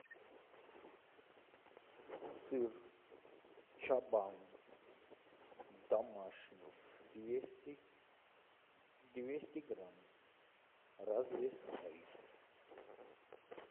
сыр чабан домашний двести двести грамм развесной